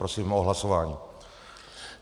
Prosím o hlasování.